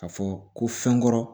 Ka fɔ ko fɛn kɔrɔ